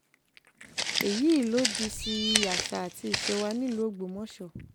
èyí lòdì sí àṣà àti ìṣe wa nílùú ògbómọṣọ